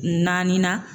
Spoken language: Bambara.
Naani na